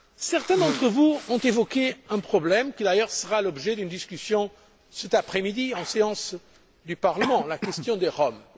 Certains d'entre vous ont évoqué un problème qui, d'ailleurs, fera l'objet d'une discussion cet après midi en séance du Parlement la question des